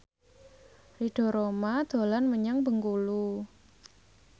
Ridho Roma dolan menyang Bengkulu